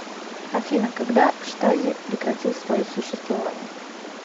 афина когда штази прекратил свое существование